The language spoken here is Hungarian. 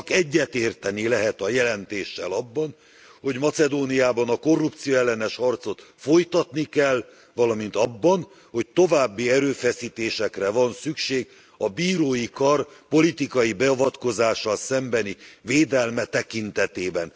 Csak egyetérteni lehet a jelentéssel abban, hogy Macedóniában a korrupcióellenes harcot folytatni kell, valamint abban, hogy további erőfeszítésekre van szükség a bírói kar politikai beavatkozással szembeni védelme tekintetében.